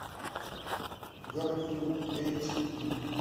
гарфилд эйч ди